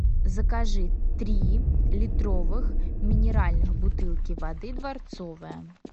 закажи три литровых минеральных бутылки воды дворцовая